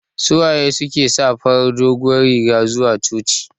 Suwaye suke sa farar doguwar riga zuwa coci?